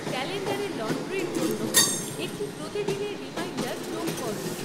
ক্যালেন্ডারে লন্ড্রির জন্য একটি প্রতিদিনের রিমাইন্ডার যোগ করো